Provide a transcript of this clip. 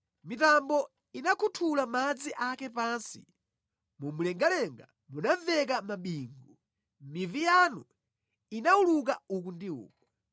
Mitambo inakhuthula madzi ake pansi, mu mlengalenga munamveka mabingu; mivi yanu inawuluka uku ndi uku.